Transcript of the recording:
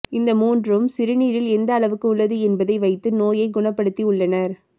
இந்த மூன்றும் சிறுநீரில் எந்த அளவுக்கு உள்ளது என்பதை வைத்து நோயை குணபடுத்தி உள்ளனர்